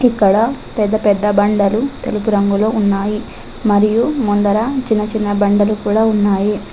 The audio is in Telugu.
ఇక్కడ పెద్ద పెద్ద బండలు తెలుపు రంగులో ఉన్నాయి మరియు ముందర చిన్న చిన్న బండలు కూడా ఉన్నాయి.